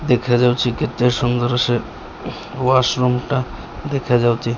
ଦେଖାଯାଉଚି କେତେ ସୁନ୍ଦର ସେ ୱାସରୁମଟା ଦେଖାଯାଉଚି।